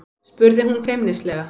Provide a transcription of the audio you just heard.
spurði hún feimnislega.